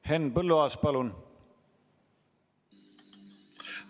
Henn Põlluaas, palun!